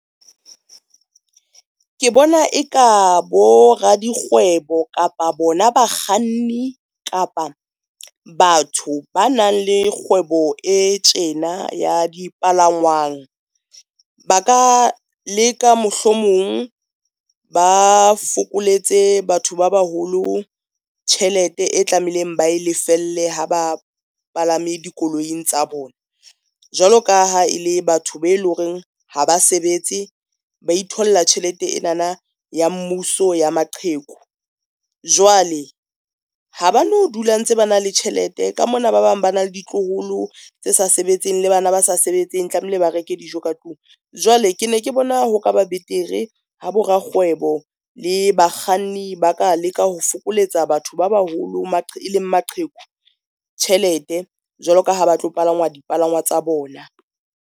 Ke bona e ka bo radikgwebo, kapa bona bakganni, kapa batho ba nang le kgwebo e tjena ya dipalangwang ba ka leka mohlomong ba fokoletse batho ba baholo tjhelete e tlameileng ba lefelle ha ba palame dikoloing tsa bona. Jwalo ka ha e le batho be e le horeng ha ba sebetse, ba itholla tjhelete ena na ya mmuso ya maqheku, jwale ha ba no dula ntse ba na le tjhelete ka mona ba bang ba na le ditloholo tse sa sebetseng le bana ba sa sebetseng tlamehile ba reke dijo ka tlung. Jwale ke ne ke bona ho kaba betere ha bo rakgwebo le bakganni ba ka leka ho fokoletsa batho ba baholo e leng maqheku tjhelete jwalo ka ha ba tlo palama dipalangwa tsa bona.